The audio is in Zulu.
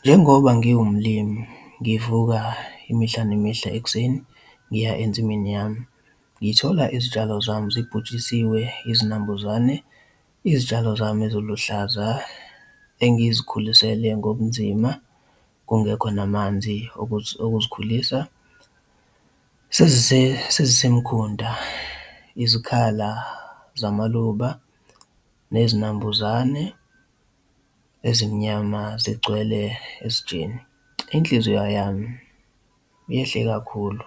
Njengoba ngiwumlimi ngivuka imihla nemihla ekuseni ngiya ensimini yami, ngithola izitshalo zami sibhujisiwe izinambuzane, izitshalo zami eziluhlaza engizikhulisele ngobunzima kungekho namanzi okuzikhulisa sezisemkhunta izikhala zamaluba nezinambuzane ezimnyama zigcwele esitsheni. Inhliziyo yami yehle kakhulu,